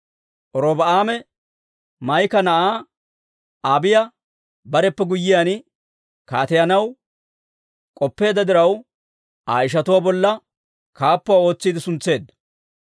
Robi'aame Maa'iki na'aa Abiiya bareppe guyyiyaan kaateyanaw k'oppeedda diraw, Aa ishatuwaa bolla kaappuwaa ootsiide suntseedda.